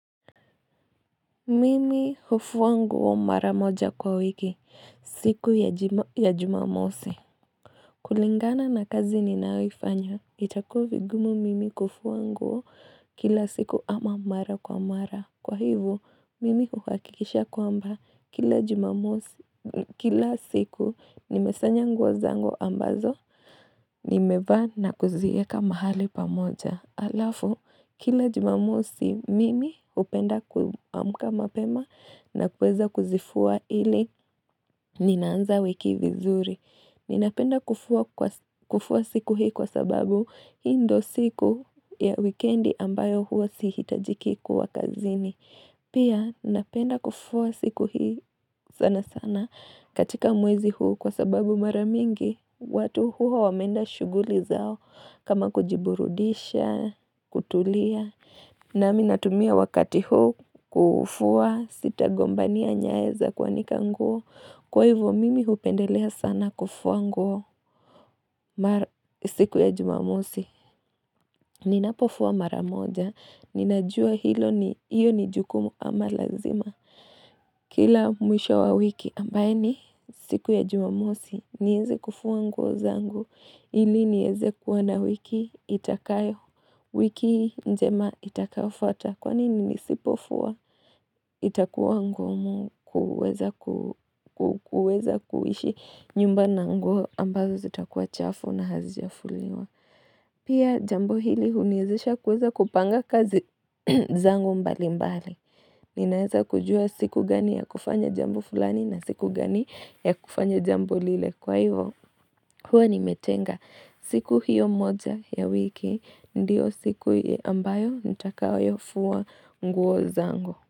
Mimi hufua nguo mara moja kwa wiki, siku ya jumamosi. Kulingana na kazi ninayoifanya, itakuwa vigumu mimi kufua nguo kila siku ama mara kwa mara. Kwa hivo, mimi hukakikisha kwamba, kila siku nimesanya nguo zangu ambazo, nimevaa na kuzieka mahali pamoja. Alafu, kila jumamosi mimi upenda kuamka mapema na kuweza kuzifua ili ninaanza wiki vizuri. Ninapenda kufua siku hii kwa sababu hii ndo siku ya weekendi ambayo huwa sihitajiki kuwa kazini. Pia, ninapenda kufua siku hii sana sana katika mwezi huu kwa sababu mara mingi. Watu huwa wameenda shughuli zao kama kujiburudisha, kutulia. Na mii natumia wakati huo kufua sitagombania nyayo za kuanika nguo. Kwa hivo mimi hupendelea sana kufua nguo siku ya jumamosi. Ninapofua maramoja. Ninajua hilo ni hiyo ni jukumu ama lazima. Kila mwisho wa wiki ambayo ni siku ya jumamosi. Nihisi kufua nguo zangu. Ili nieze kuwa na wiki itakayo, wiki njema itakayofuata, kwani nisipofua itakuwa ngumu kuweza kuishi nyumba na nguo ambazo zitakuwa chafu na hazijafuliwa. Pia jambo ili uniwezisha kuweza kupanga kazi zangu mbali mbali. Ninaweza kujua siku gani ya kufanya jambo fulani na siku gani ya kufanya jambo lile kwa hivo. Huwa nimetenga siku hiyo moja ya wiki ndiyo siku ambayo nitakayo fua nguo zangu.